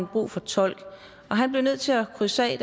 brug for tolk han blev nødt til at krydse af